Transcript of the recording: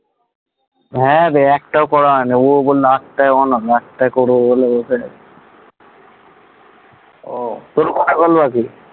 হ্যাঁ, রে একটাও করা হয়নি। ওর ওপর করবো বলে তোর কটা call বাকি?